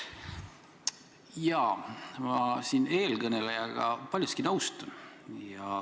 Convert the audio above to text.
Jaa, ma siin eelkõnelejaga paljuski nõustun.